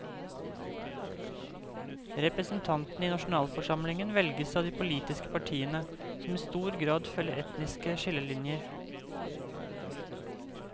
Representantene i nasjonalforsamlingen velges av de politiske partiene, som i stor grad følger etniske skillelinjer.